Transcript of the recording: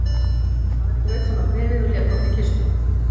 Ari braut saman bréfið og lét ofan í kistu.